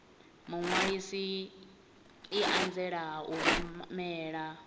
muṅwalisi i anzela u rumela